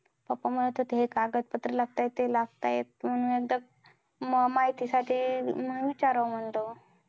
Pappa म्हणत होते, हे कागदपत्र लागतायत ते लागतायत. म्हणून एकदा मग माहितीसाठी मग विचारावं म्हणलं मग.